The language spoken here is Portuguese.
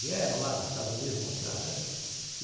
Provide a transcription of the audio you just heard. Vieram lá dos Estados Unidos mostrar, né?